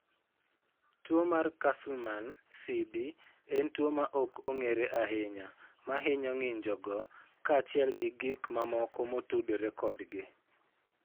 Tuwo mar Castleman (CD) en tuwo ma ok ong'ere ahinya ma hinyo ng'injogo kaachiel gi gik mamoko motudore kodgi.